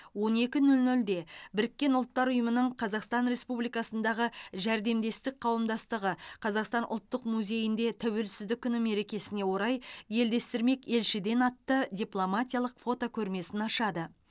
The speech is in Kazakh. он екі нөл нөлде біріккен ұлттар ұйымының қазақстан республикасындағы жәрдемдестік қауымдастығы қазақстан ұлттық музейінде тәуелсіздік күні мерекесіне орай елдестірмек елшіден атты дипломатиялық фотокөрмесін ашады